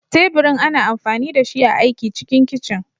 Teburin ana amfani dashi a aiki cikin kicin.